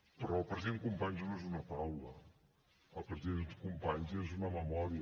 però el president companys no és una taula el president companys és una memòria